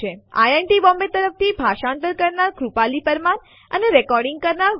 IIT Bombay તરફથી ભાષાંતર કરનાર હું કૃપાલી પરમાર વિદાય લઉં છું